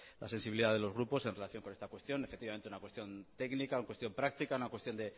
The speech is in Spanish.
la sensibilidad de los grupos en relación con esta cuestión efectivamente una cuestión técnica una cuestión práctica una cuestión